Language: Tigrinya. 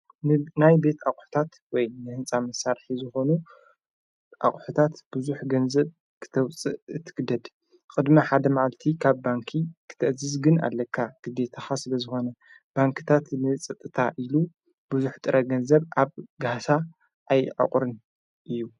ናይ ቤት ኣቝሕታት ወይ ንሕንፃ መሳርሒ ዝኾኑ ኣቝሕታት ብዙኅ ገንዘብ ክተውፅእ ትግደድ ቕድሚ ሓደ መዓልቲ ኻብ ባንኪ ክትእዝዝ ግን ኣለካ ግዜ ተሓ ስበ ዝኾነ ባንክታት ንጸጥታ ኢሉ ብዙኅ ጥረ ገንዘብ ኣብ ገህሳ ኣይዕቑርን እዩ።